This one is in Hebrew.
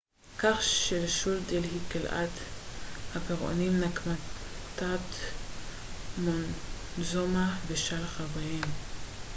כך שלשול דלהי קללת הפרעונים נקמת מונטזומה ושלל חבריהם